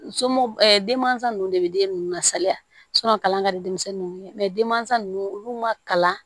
Somu denmansa nunnu de be den nunnu lasalaya kalan ka di denmisɛnnin ninnu ye denmansa nunnu olu ma kalan